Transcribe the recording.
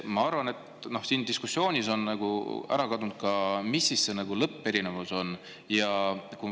Ma arvan, et siin diskussioonis on nagu ära kadunud see, mis see lõpperinevus siis on.